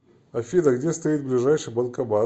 афина где стоит ближайший банкомат